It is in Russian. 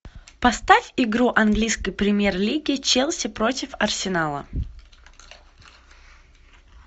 поставь игру английской премьер лиги челси против арсенала